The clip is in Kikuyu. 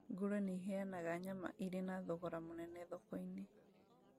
Ngũrwe nĩiheanaga nyama irĩ na thogora mũnene thoko-inĩ